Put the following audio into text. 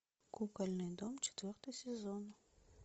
кукольный дом четвертый сезон